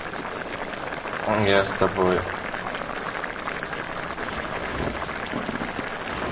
я с тобой